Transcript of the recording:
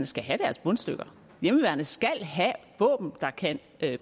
skal have deres bundstykker hjemmeværnet skal have våben der kan